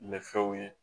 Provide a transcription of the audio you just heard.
Ni fɛnw ye